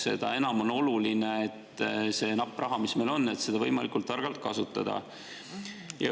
Seda enam on oluline seda nappi raha, mis meil on, võimalikult targalt kasutada.